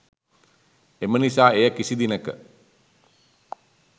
එම නිසා එය කිසි දිනක